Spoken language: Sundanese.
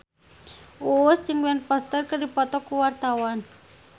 Uus jeung Ben Foster keur dipoto ku wartawan